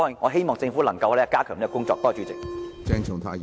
我希望政府能夠加強這方面的工作。